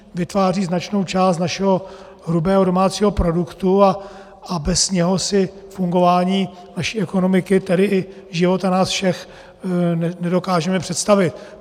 Vytváří značnou část našeho hrubého domácího produktu a bez něj si fungování naší ekonomiky, tedy i života nás všech, nedokážeme představit.